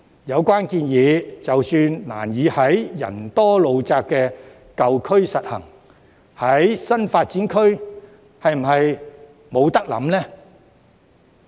有關建議即使難以在人多路窄的舊區實行，那麼在新發展區又是否不可以考慮呢？